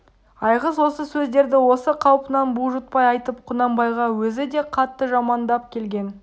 айғыз осы сөздерді осы қалпынан бұлжытпай айтып құнанбайға өзі де қатты жамандап келген